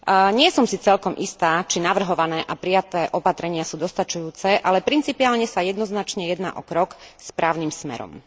Nie som si celkom istá, či navrhované a prijaté opatrenia sú dostačujúce, ale principiálne sa jednoznačne jedná o krok správnym smerom.